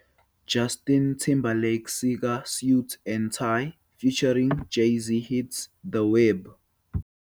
"Justin Timberlake sika 'Suit and Tie' Featuring Jay-Z Hits The Web".